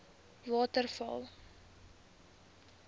waterval